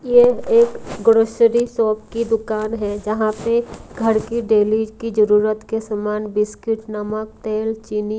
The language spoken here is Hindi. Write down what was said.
यह एक ग्रोसरी शॉप की दुकान है जहां पे घर की डेली की जरूरत के सामान बिस्किट नमक तेल चीनी--